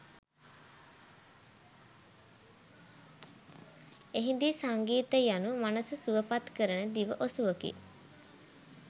එහිදී සංගීතය යනු මනස සුවපත් කරන දිව ඔසුවකි